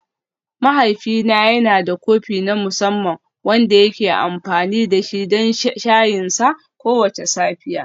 Mahaifina yana da kofi na musamman wanda yake amfani da shi don shayinsa kowace safiya.